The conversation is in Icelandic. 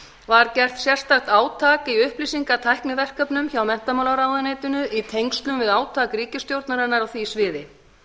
var gert sérstakt átak í upplýsingatækniverkefnum hjá menntamálaráðuneytinu í tengslum við átak ríkisstjórnarinnar á því sviði